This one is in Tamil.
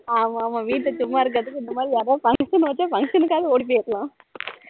ஆமா ஆமா வீட்டுல சும்மா இருக்குறதுக்கு இப்படி யாராவது function வச்சா function காவது ஓடி போய்யிரலாம்